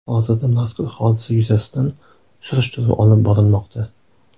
Hozirda mazkur hodisa yuzasidan surishtiruv olib borilmoqda.